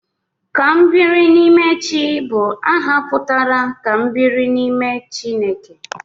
Kambirinimechi bụ aha pụtara 'Ka m biri n'ime Chineke'